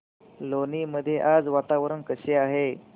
लोणी मध्ये आज वातावरण कसे आहे